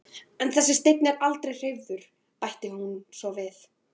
En þessi steinn er aldrei hreyfður, bætir hún svo við.